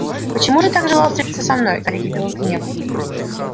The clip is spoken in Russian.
почему же так желал встретиться со мной гарри кипел от гнева